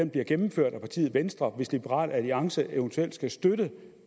bliver gennemført af partiet venstre hvis liberal alliance eventuelt skal støtte